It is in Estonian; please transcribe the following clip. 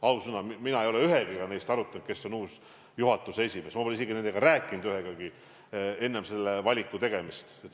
Ausõna, mina ei ole ühegagi neist arutanud, kes on uus juhatuse esimees, ma pole isegi rääkinud ühegagi nendest enne selle valiku tegemist.